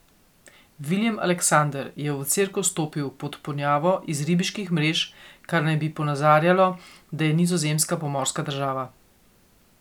Viljem Aleksander je v cerkev vstopil pod ponjavo iz ribiških mrež, kar naj bi ponazarjalo, da je Nizozemska pomorska država.